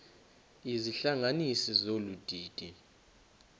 izihlanganisi zolu didi